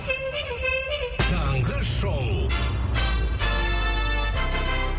таңғы шоу